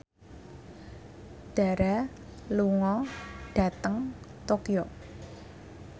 Dara lunga dhateng Tokyo